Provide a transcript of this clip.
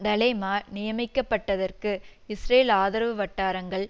டலேமா நியமிக்கப்பட்டதற்கு இஸ்ரேல் ஆதரவு வட்டாரங்கள்